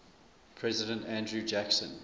president andrew jackson